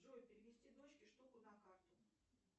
джой перевести дочке штуку на карту